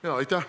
Aitäh!